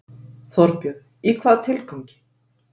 Þorbjörn: Í hvaða tilgangi?